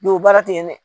o baara te yen dɛ